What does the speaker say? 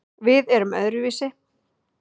Við erum öðruvísi